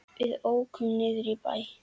Við ókum niður í bæ.